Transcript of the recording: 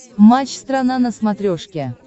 матч страна на смотрешке